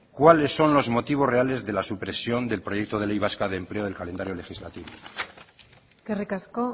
cuáles son los motivos reales de la supresión del proyecto de ley vasca de empleo del calendario legislativo eskerrik asko